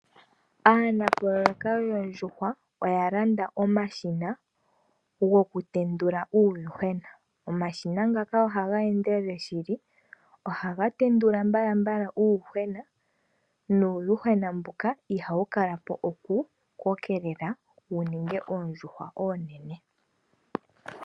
Aanapololeka yoondjuhwa oya landa omashina gokutendula uuyuhwena. Omashina ngaka ohaga endelele shili. Ohaga tendula mbalambala uuyuhwena nuuyuhwena mbuka ihawu kala po kukokelela wuninge oondjuhwa oonene.